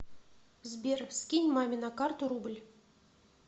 сбер скинь маме на карту рубль